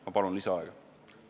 Ma palun lisaaega!